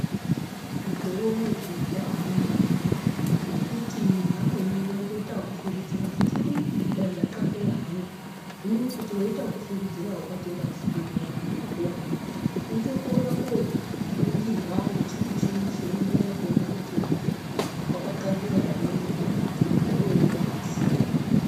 Mukore uno zviro zvabaanaka, ngokuti vamweni vaitoita ekufungidzira kuti ii dai ndatxatxeya hangu. Hino kuti weiita okufungidzira, ukatoenda kuchibhedhlera kona ukoko, unotokona koningirwa ngechimuchini chinoningira kuona kuti muntuwo wakatxatxeya ere kana kuti muntuwo aazi.